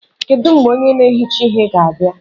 Kedu mgbe onye na-ehicha ihe ga-abịa ọrụ?